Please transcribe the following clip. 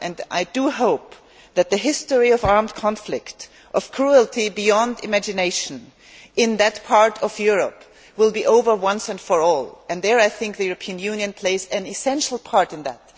I hope that the history of armed conflict, of cruelty beyond imagination, in that part of Europe will be over once and for all, and I think the European Union plays an essential part in that.